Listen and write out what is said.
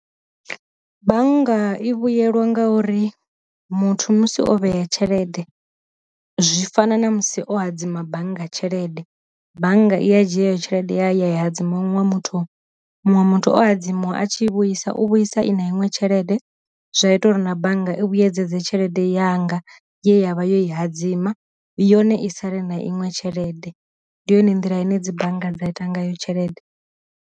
Bannga i vhuyelwa nga uri muthu musi o vhea tshelede zwi fana na musi o hadzima bannga tshelede bannga i ya dzhia heyo tshelede ya ya dzi munwe muthu, muṅwe muthu o adzi muṅwe a tshi i vhuisa u vhuisa i na iṅwe tshelede zwa ita uri na bannga i vhuyedze tshelede yanga yavha yo i hadzima yone i sale na iṅwe tshelede, ndi yone nḓila ine dzi bannga dza ita ngayo tshelede.